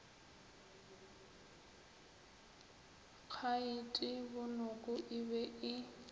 khaete bonoko e be e